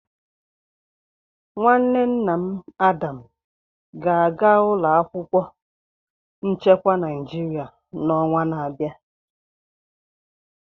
Nwanne nna Adam ga-aga ụlọ akwụkwọ nchekwa Naịjirịa n'ọnwa na-abịa.